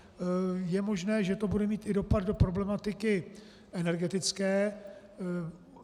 Je možné, že to bude mít i dopad do problematiky energetické.